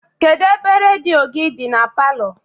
Kedụ ebe rediọ gị dị na palọ?